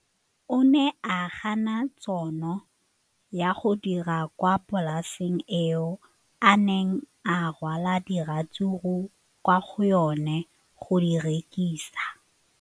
O ne a gana tšhono ya go dira kwa polaseng eo a neng rwala diratsuru kwa go yona go di rekisa.